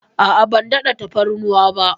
A'a, ban daɗa tafarnuwa ba.